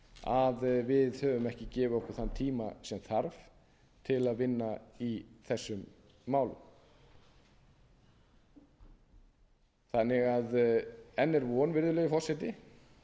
að við höfum ekki gefið okkur þann tíma sem þarf til að vinna í þessum málum enn er því von virðulegur forseti